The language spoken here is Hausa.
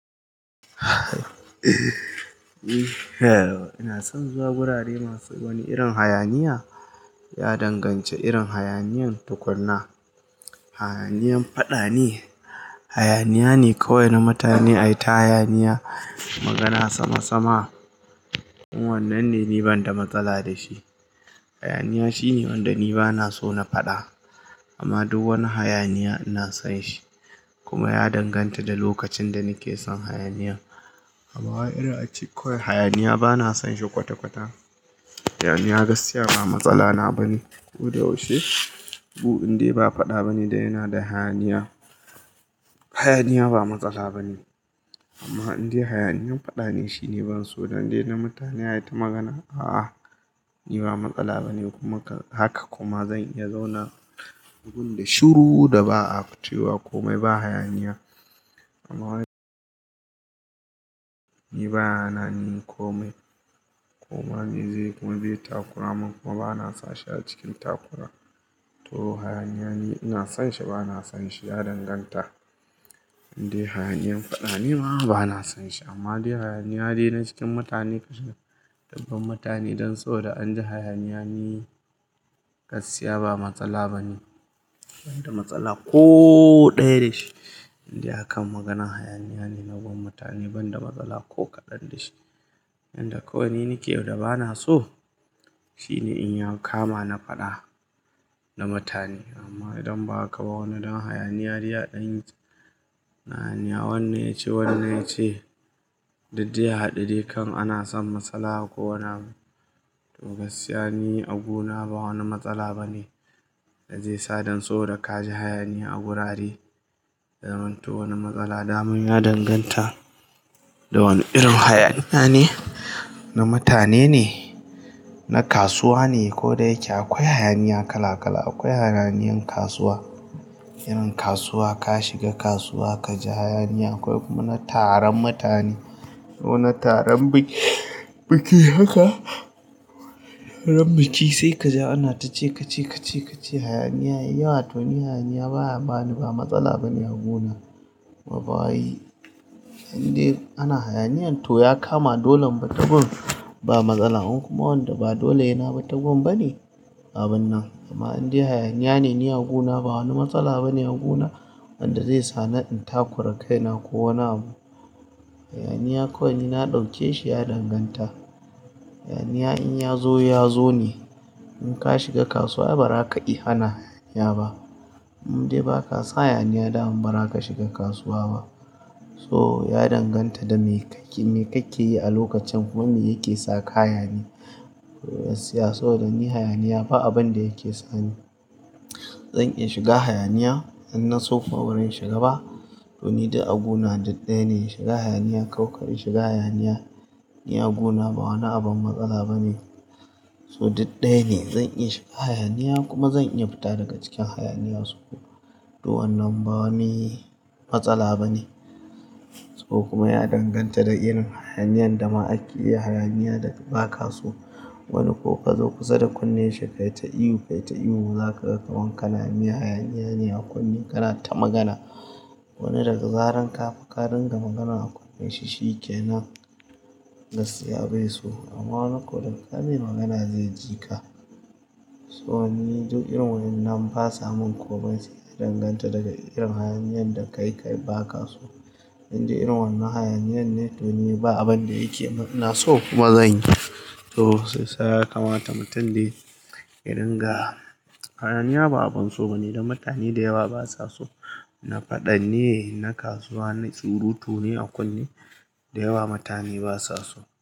Ina son zuwa wurare masu wani irin hayaniya, ya danganci irin hayaniyan tukuna. Hayaniyan faɗa ne, hayaniya ne kawai na mutane ai ta hayaniya. Magana sama sama. In Wanannan ne ni banda matsala da shi. Hayaniya shine wanda ni bana so na faɗa. Amma duk wani hayaniya ina son shi kuma ya danganta da lokacin da nake son hayaniyan. Amma waye irin a ci koyi hayaniya bana son shi kwata kwata. Hayaniya gaskiya ba matsala na bane. Ko da yaushe. Gu, indai ba faɗa bane da yana da hayaniya. Hayaniya ba matsala bane. Amma indai hayaniyan faɗa ne shine ban so, dan indai na mutane ai ta magana. A'a, ni ba matsala bane kuma haka kuma zan iya zauna gun da shiru da ba a fito wa komai ba hayaniya. Amma waye, ni ba na nani komai. Kuma ni zai kuma je takura mun kuma bana son sha cikin takura. To hayaniya ne ina son shi ba na son shi, ya danganta. Indai hayaniyan faɗa ne ma bana son shi. Amma dai hayaniya ne na cikin mutane kashi dabban mutane don so da anji hayaniya ni gaskiya ba matsala bane. Ban da matsala ko ɗaya da shi. Indai hakan magana hayaniya ne na gun mutane ban da matsala ko kaɗan da shi. Inda kawai ni nake da bana so, shine in ya kama na faɗa na mutane. Amma idan ba haka ba wani don hayaniya dai ɗan yi. Na hayaniya wanne yace wanne yace. Diddai i hadu dai kan ana son matsala ko wane abu. To gaskiya ni a guna ba wani matsala bane, da zai sa don so da kaji hayaniya a wurare. Ya manto wani matsala damun ya danganta da wani irin hayaniya ne. Na mutane ne, na kasuwa ne ko dai yake akwai hayaniya kala kala. Akwai hayaniyan kasuwa. Irin kasuwa ka shiga kasuwa kaji hayaniya akwai kuma na taron mutane. Kona aron biki haka. Taron biki sai kaji ana ta ce ka ce ke ce ka ce hayaniya yawa. To ni hayaniya baya bani ba matsala bane a guna. Ma bawai indai ana hayaniya to ya kama dolon bata gun ba matsala. Kuma wanda ba dole hena bita gun bane, abun nan. Amma indai hayaniya ne ni a gona ba wani matsala bane a gona wanda zai sa na in takura kaina ko wane abu. Hayaniya kawai ni na ɗauke shi ya danganta. Hayaniya in ya zo ya zo ne. In ka shiga kasuwa ba ra ka iya hana hayaniya ba. Indai ba ka sa hayaniya dam ba ra ka shiga kasuwa ba. So ya danganta da me ka ke, me ka ke yi a lokacin kuma me yake sa ka hayani. Gaskiya so dan ni hayaniya ba abin da yake sani. Zan iya shiga hayaniya idan na so kuma ba ran shiga ba. To ni da a guna duk ɗaya ne. Shiga hayaniya ko ƙar in shiga hayaniya ni a gona ba wani abin matsala bane. To duk ɗaya ne. Zan iya shiga hayaniya kuma zan iya fita daga cikin hayaniya. To wannan ba wani matsala bane. To kuma ya danganta da irin hayaniyan da ma ake yi hayaniya da ba ka so. Wani ko ka zo kusa da kunne shi kai ta ihu kai ta ihu za ka ga ka wanka namiya hayaniya ne a kunne kana ta magana. Wani daga zaran ka fa ƙarin ga magana a kunne shi shi ke nan. Gaskiya bai so. Amma wani ko da ƙayi mai magana zai ji ka. So ni duk irin wannan ba sa mun komai sai ya danganta daga irin hayaniyan da ka yi ka yi ba ka so. Indai irin wannan hayaniyan ne to ni ba abin da yake mun ina so kuma zan yi. To sai saka mata mutum dai irin ga. Hayaniya ba abun so bane dan mutane da yawa ba sa so. Na faɗan ne, na kasuwa ne, surutu ne a kunne. Da yawa mutane ba sa so.